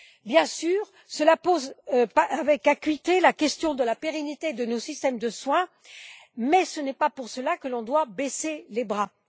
Bien sûr, cela ne pose pas avec acuité la question de la pérennité de nos systèmes de soin, mais ce n'est pas pour cela que l'on doit baisser les bras.